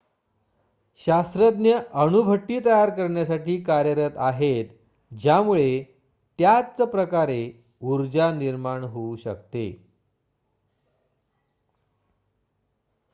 शास्त्रज्ञ अणुभट्टी तयार करण्यासाठी कार्यरत आहेत ज्यामुळे त्याच प्रकारे ऊर्जा निर्माण होऊ शकते